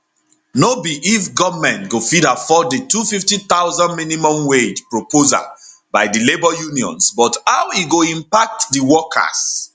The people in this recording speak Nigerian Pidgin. no be if goment go fit afford di 250000 minimum wage proposal by di labour unions but how e go impact di workers